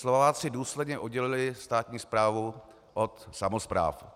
Slováci důsledně oddělili státní správu od samospráv.